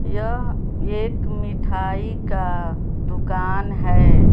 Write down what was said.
यह एक मिठाई का दुकान हैं।